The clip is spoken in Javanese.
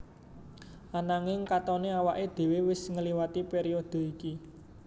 Ananging katoné awaké dhéwé wis ngliwati périodhe iki